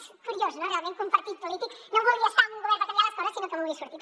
és curiós realment que un partit polític no vulgui estar en un govern per canviar les coses sinó que en vulgui sortir